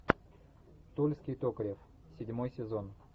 тульский токарев седьмой сезон